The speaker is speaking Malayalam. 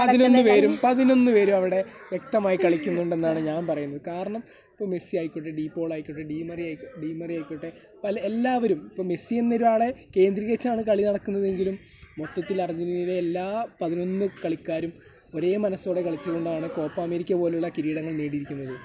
പതിനൊന്നുപേരും, പതിനൊന്നുപേരും അവിടെ വ്യക്തമായി കളിക്കുന്നുണ്ടെന്നാണ് ഞാൻ പറയുന്നത് . കാരണം, ഇപ്പോൾ മെസ്സി ആയിക്കോട്ടെ, ഡി പോൾ ആയിക്കോട്ടെ , ഡി മെറി ആയി ... ഡി മെറി ആയിക്കോട്ടെ എല്ലാവരും . ഇപ്പോൾ മെസ്സി എന്നൊരാളെ കേന്ദ്രീകരിച്ചാണ് കളി നടക്കുന്നതെങ്കിലും മൊത്തത്തിൽ അർജെൻറ്റീനയിലെ എല്ലാ പതിനൊന്നു കളിക്കാരും ഒരേ മനസ്സ് കൊണ്ട് കളിച്ചത് കൊണ്ടാണ് കോപ്പ അമേരിക്ക പോലുള്ള കിരീടങ്ങൾ നേടിയിരിക്കുന്നത്.